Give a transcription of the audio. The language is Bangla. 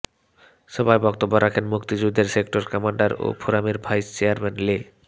সভায় বক্তব্য রাখেন মুক্তিযুদ্ধের সেক্টর কমান্ডার ও ফোরামের ভাইস চেয়ারম্যান লে